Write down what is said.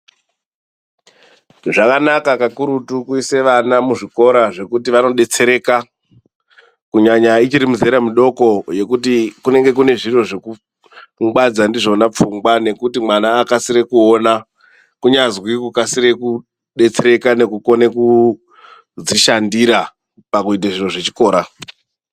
Zvakanaka kakurutu kuise vana muzvikora zvekuti vanobetsereka kunyanya ichiri mizera midoko yekuti kunenge kune zviro zvekungwadza ndizvona pfungwa. Nekuti mwana akasire kuona kunyazwi ukasire kubetsereka nekukone kudzishandira pakuite zviro zvechikora.